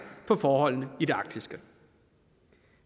på forholdene i det arktiske